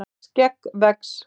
skegg vex